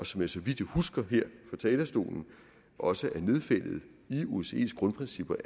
som så vidt jeg husker her fra talerstolen også er nedfældet i osces grundprincipper